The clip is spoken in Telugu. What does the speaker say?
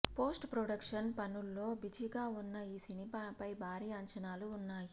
పోస్ట్ ప్రొడక్షన్ పనుల్లో బిజీగా ఉన్న ఈ సినిమాపై భారి అంచనాలు ఉన్నాయి